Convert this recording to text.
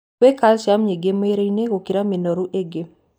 Wĩ calcium nyingĩ mwĩrĩ-inĩ gũkĩra minũrũ ingĩ.